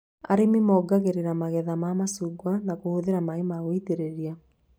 Arĩmi mongagĩrĩra magetha ma macungwa na kũhũthĩra maĩ ma gũitĩrĩria